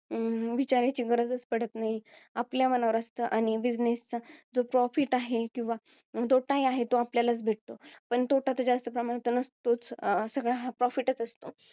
विचारायची गरजच पडत नाही. आपल्या मनावर असतं आणि business चा जो profit आहे किंवा, तोटा आहे तो आपल्यालाच भेटतो. तोटा तर जास्त प्रमाणात नसतोच. सगळा हा profit असतो.